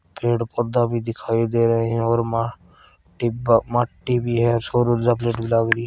पेड़-पौधा भी दिखाई दे रहे है और म-माटी भी माटी भी है सोर ऊर्जा प्लेट भी लागरी है।